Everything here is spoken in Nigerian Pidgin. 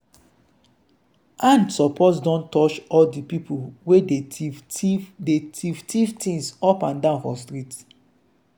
hand suppose don touch all di pipo wey dey tiff tiff dey tiff tiff things up and down for street.